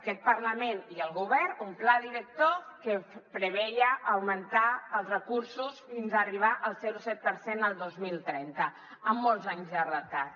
aquest parlament i el govern un pla director que preveia augmentar els recursos fins a arribar al zero coma set per cent el dos mil trenta amb molts anys de retard